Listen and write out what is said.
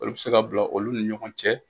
Olu bɛ se ka bila olu ni ɲɔgɔn cɛ.